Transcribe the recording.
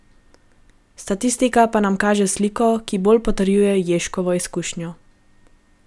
Statistika pa nam kaže sliko, ki bolj potrjuje Ježkovo izkušnjo.